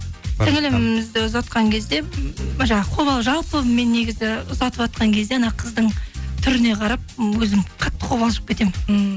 сіңілімізді ұзатқан кезде жаңағы жалпы мен негізі ұзатыватқан кезде ана қыздың түріне қарап өзім қатты қобалжып кетемін ммм